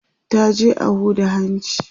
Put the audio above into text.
ta je a Huda hanci